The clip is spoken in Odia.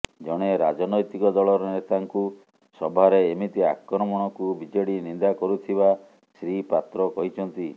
ଜଣେ ରାଜନୈତିକ ଦଳର ନେତାଙ୍କୁ ସଭାରେ ଏମିତି ଆକ୍ରମଣକୁ ବିଜେଡି ନିନ୍ଦା କରୁଥିବା ଶ୍ରୀ ପାତ୍ର କହିଛନ୍ତି